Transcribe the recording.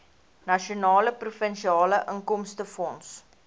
nasionale provinsiale inkomstefonds